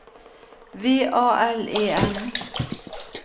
V A L E N